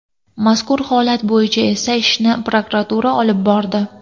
Mazkur holat bo‘yicha esa ishni prokuratura olib bordi.